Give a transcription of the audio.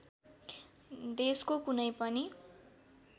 देशको कुनै पनि